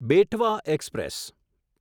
Betwa express